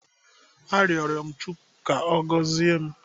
Arịọrọ m Chukwu ka Ọ gọzie m.